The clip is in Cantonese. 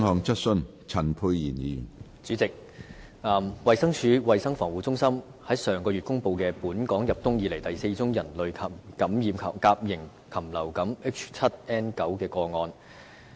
主席，衞生署衞生防護中心於上月公布本港入冬以來第4宗人類感染甲型禽流感 H7N9 的個案。